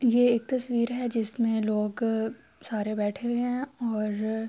یہ ایک تشویر ہے جسمے لوگ سارے بیٹھے ہوئے ہے اور--